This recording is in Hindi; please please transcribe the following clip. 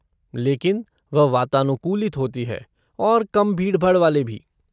लेकिन वह वातानुकूलित होती है और कम भीड़भाड़ वाले भी।